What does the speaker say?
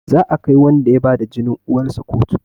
Za a kai wanda ya bada jinin uwarsa kotu